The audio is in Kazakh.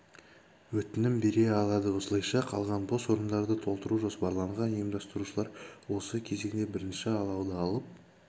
өтінім бере алады осылайша қалған бос орындарды толтыру жоспарланған ұйымдастырушылар осы кезеңде бірінші алауды алып